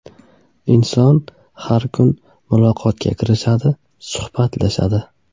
Inson har kuni muloqotga kirishadi, suhbatlashadi.